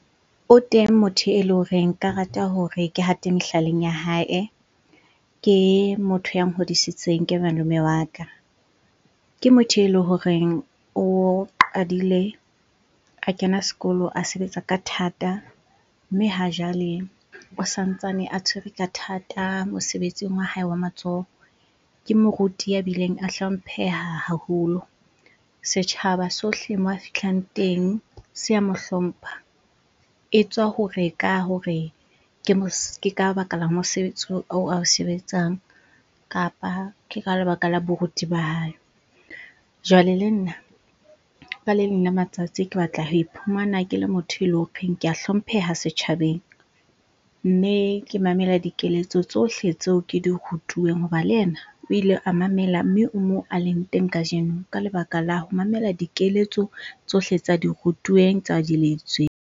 O teng motho ele horeng nka rata hore ke hate mehlaleng ya hae. Ke motho ya nhodisitseng, ke malome wa ka. Ke motho ele horeng o qadile a kena sekolo, a sebetsa ka thata, mme ha jwale o santsane a tshwere ka thata mosebetsing wa hae wa matsoho. Ke moruti ya bileng a hlompheha haholo. Setjhaba sohle moo a fihlang teng se a mohlompha, etswa hore ka hore ke ka baka la mosebetsi oo ao sebetsang kapa ke ka lebaka la boruti ba hae. Jwale le nna ka le leng la matsatsi, ke batla ho iphumana ke le motho ele horeng ke a hlompheha setjhabeng mme ke mamela dikeletso tsohle tseo ke di rutuweng. Hoba le ena o ile a mamela mme o moo a leng teng kajeno ka lebaka la ho mamela dikeletso tsohle tsa di rutuweng, tsa di .